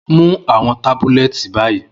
Mu awọn tabulẹti bayi!